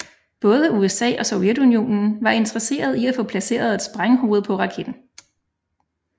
Både USA og Sovjetunionen var interesseret i at få placeret et sprænghoved på raketten